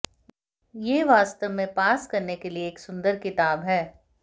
यह वास्तव में पास करने के लिए एक सुंदर किताब है